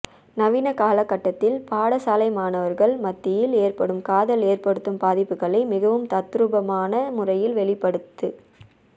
நவீன காலகட்டத்தில் பாடசாலை மாணவர்கள் மத்தியில் ஏற்படும் காதல் ஏற்படுத்தும் பாதிப்புக்களை மிகவும் தத்துரூபமான முறையில் வெளிப்படுத்